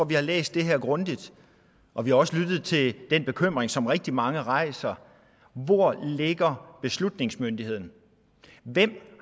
vi har læst det her grundigt og vi har også lyttet til den bekymring som rigtig mange rejser hvor ligger beslutningsmyndigheden hvem